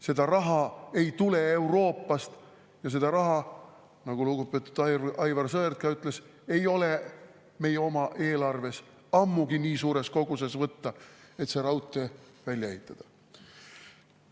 Seda raha ei tule Euroopast ja seda raha, nagu lugupeetud Aivar Sõerd ütles, ei ole meie oma eelarvest nii suures koguses ammugi võtta, et see raudtee välja ehitada.